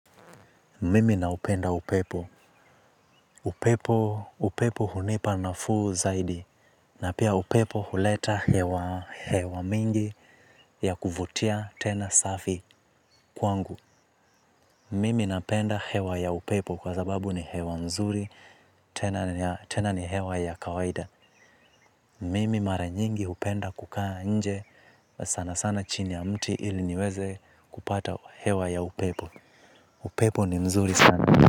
Mimi naupenda upepo. Upepo, upepo hunipa nafuu zaidi. Na pia upepo huleta hewa mingi ya kuvutia tena safi kwangu. Mimi napenda hewa ya upepo kwa sababu ni hewa nzuri, tena ni hewa ya kawaida. Mimi mara nyingi hupenda kukaa nje sana sana chini ya mti ili niweze kupata hewa ya upepo. Upepo ni mzuri sana.